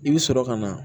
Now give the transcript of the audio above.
I bɛ sɔrɔ ka na